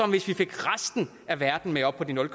hvis vi fik resten af verden med op på de nul